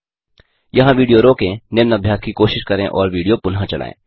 यहाँ विडियो रोकें निम्न अभ्यास की कोशिश करें और विडियो पुनः चलायें